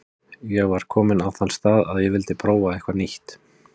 Ég var kominn á þann stað að ég vildi prófa eitthvað nýtt.